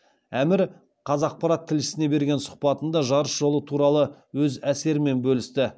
әмір қаз ақпарат тілшісіне берген сұхбатында жарыс жолы туралы өз әсерімен бөлісті